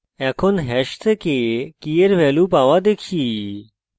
এখন hash থেকে key এর value পাওয়া দেখি